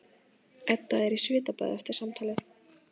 Edda er í svitabaði eftir samtalið.